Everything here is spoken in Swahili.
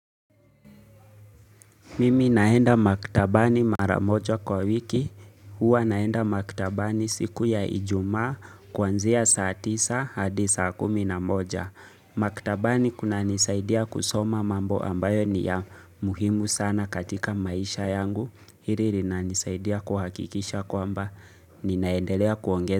Mimi naenda maktabani mara moja kwa wiki, huwa naenda maktabani siku ya ijumaa kuanzia saa tisa hadi saa kumi na moja maktabani kunanisaidia kusoma mambo ambayo ni ya muhimu sana katika maisha yangu. Hili linanisaidia kuhakikisha kwamba ninaendelea kuongeza.